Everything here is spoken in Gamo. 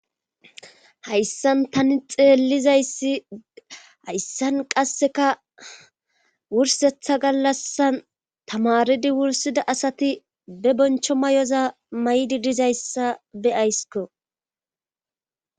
Hayssan tani xeelliza issi hayssan qassikka wursettaa gallasan tamaridi wursida asati ba boncho mayoza maydi diza assa be'asikko.